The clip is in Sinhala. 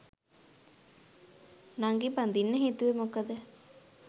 නංගි බඳින්න හිතුවේ මොකද?